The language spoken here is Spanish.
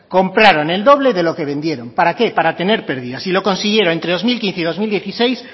compraron el doble de lo que vendieron para qué para tener pérdidas y lo consiguieron entre dos mil quince y dos mil dieciséis